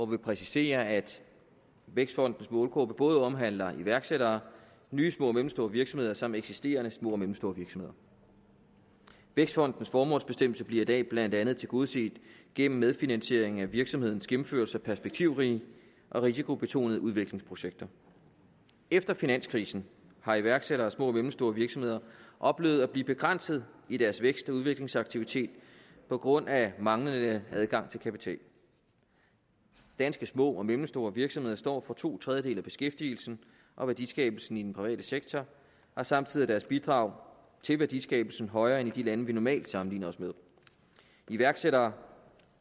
vi præciserer at vækstfondens målgruppe både omhandler iværksættere nye små og mellemstore virksomheder samt eksisterende små og mellemstore virksomheder vækstfondens formålsbestemmelse bliver i dag blandt andet tilgodeset gennem medfinansiering af virksomhedens gennemførelse af perspektivrige og risikobetonede udviklingsprojekter efter finanskrisen har iværksættere og små og mellemstore virksomheder oplevet at blive begrænset i deres vækst og udviklingsaktivitet på grund af manglende adgang til kapital danske små og mellemstore virksomheder står for to tredjedele af beskæftigelsen og værdiskabelsen i den private sektor og samtidig er deres bidrag til værdiskabelsen højere end i de lande vi normalt sammenligner os med iværksættere